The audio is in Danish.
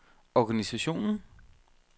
organisationen